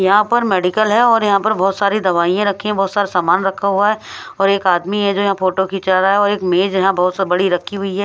यहां पर मेडिकल है और यहां पर बहुत सारी दवाइयां रखी है बहुत सारा सामान रखा हुआ है और एक आदमी है जो यहां फोटो खींचा रहा है और एक मेज यहां बहुत सी बड़ी रखी हुई है।